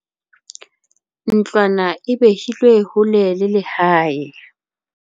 ntlwana e behilwe hole le lehae